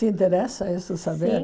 Te interessa isso saber? Sim